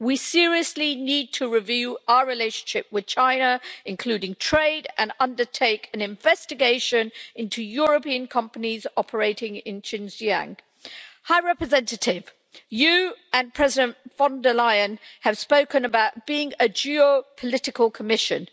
We seriously need to review our relationship with China, including trade, and undertake an investigation into European companies operating in Xinjiang. High Representative, you and President von der Leyen have spoken about being a geopolitical Commission.